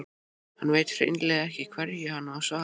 Hann veit hreinlega ekki hverju hann á að svara.